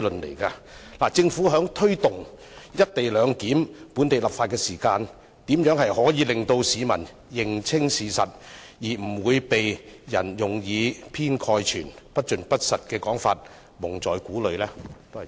因此，政府在推動有關"一地兩檢"的本地立法工作時，如何能令市民認清事實，以免被人利用這些以偏概全、不盡不實的說法蒙在鼓裏？